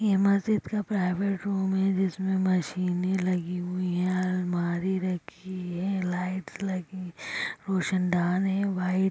ये मस्जिद का प्राइवेट रूम है जिसमे मशीने लगी हुई हैं अलमारी रखी है लाइट्स लगी रोशन दान है व्हाइट ।